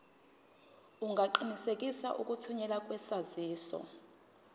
ungaqinisekisa ukuthunyelwa kwesaziso